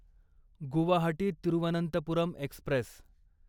Guwahati Thiruvananthapuram Express